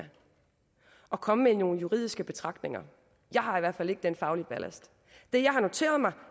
og komme med nogle juridiske betragtninger jeg har i hvert fald ikke den faglige ballast det jeg har noteret mig